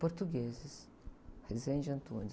Portugueses, Rezende e Antunes.